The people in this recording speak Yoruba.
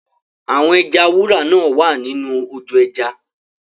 Àwọn ẹja wúrà náa wá nínú ojò ẹja.